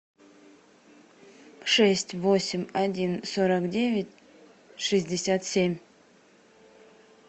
шесть восемь один сорок девять шестьдесят семь